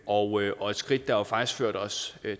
og og et skridt der faktisk førte os